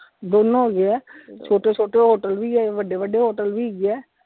ਦੋਨੋ ਹੈਗੇ ਆ, ਛੋਟੇ ਛੋਟੇ hotel ਵੀ ਹੈ ਵੱਡੇ ਵੱਡੇ hotel ਵੀ ਹੈਗੇ ਆ।